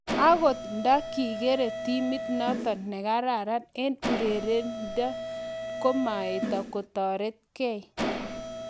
angot nda kikere timit notok nekararan eng urerindo komaete kotaretkei